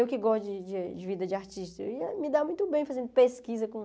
Eu que gosto de de de vida de artista, eu ia me dar muito bem fazendo pesquisa com...